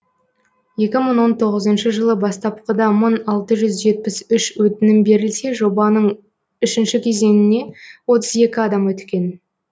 екі мың он тоғызыншы жылы бастапқыда мың алты жүз жетпіс үш өтінім берілсе жобаның үшінші кезеңіне отыз екі адам өткен